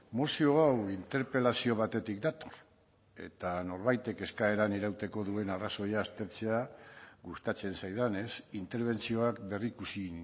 mozio hau interpelazio batetik dator eta norbaitek eskaeran irauteko duen arrazoia aztertzea gustatzen zaidanez interbentzioak berrikusi